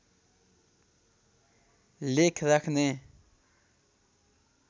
लेख राख्ने